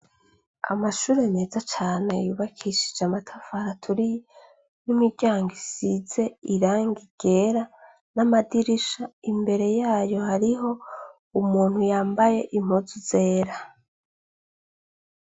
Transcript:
Amashure meza cane yubakishijwe amatafari aturiye, n'imiryango isize irangi ryera, n'amadirisha. Imbere y'ayo hariho umuntu yambaye impuzu zera.